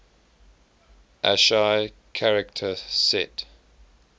ascii character set